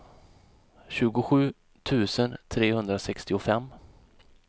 tjugosju tusen trehundrasextiofem